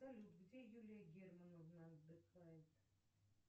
салют где юлия германовна отдыхает